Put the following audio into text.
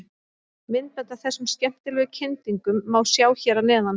Myndband af þessum skemmtilegu kyndingum má sjá hér að neðan.